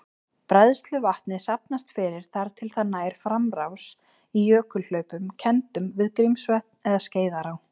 Bræðsluvatnið safnast fyrir þar til það nær framrás í jökulhlaupum kenndum við Grímsvötn eða Skeiðará.